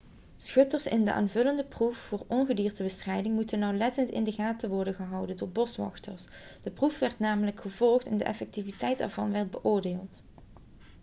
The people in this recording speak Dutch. schutters in de aanvullende proef voor ongediertebestrijding moesten nauwlettend in de gaten worden gehouden door boswachters de proef werd namelijk gevolgd en de effectiviteit ervan werd beoordeeld